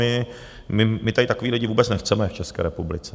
My tady takové lidi vůbec nechceme v České republice.